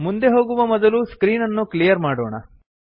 ಮುಂದೆ ಹೋಗುವ ಮೊದಲು ಸ್ಕ್ರೀನ್ ಅನ್ನು ಕ್ಲಿಯರ್ ಮಾಡೋಣ